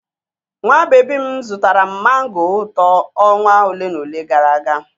Nwa baby m zụtara m mango ụtọ ọnwa ole na ole gara aga.